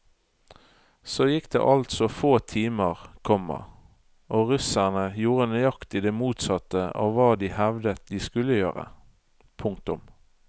Så gikk det altså få timer, komma og russerne gjorde nøyaktig det motsatte av hva de hevdet de skulle gjøre. punktum